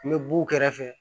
N bɛ b'u kɛrɛfɛ